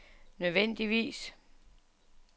nødvendigvis